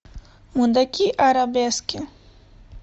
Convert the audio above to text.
мудаки арабески